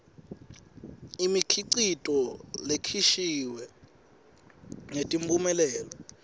imikhicito lekhishiwe netimphumelelo